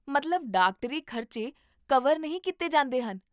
ਮਤਲਬ ਡਾਕਟਰੀ ਖ਼ਰਚੇ ਕਵਰ ਨਹੀਂ ਕੀਤੇ ਜਾਂਦੇ ਹਨ?